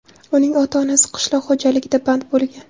Uning ota-onasi qishloq xo‘jaligida band bo‘lgan.